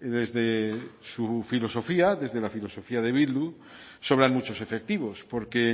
desde su filosofía desde la filosofía de bildu sobran muchos efectivos porque